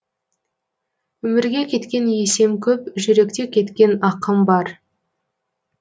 өмірге кеткен есем көп жүректе кеткен ақым бар